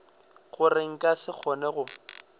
gore nka se kgone go